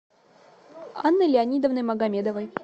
анной леонидовной магомедовой